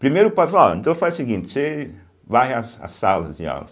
Primeiro o padre falou, ó, então faz o seguinte, você varre as as salas de aula.